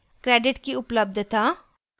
credit की उपलब्धता